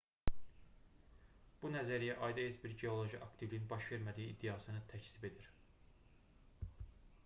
bu nəzəriyyə ayda heç bir geoloji aktivliyin baş vermədiyi iddiasını təkzib edir